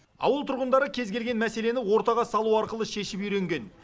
ауыл тұрғындары кез келген мәселені ортаға салу арқылы шешіп үйренген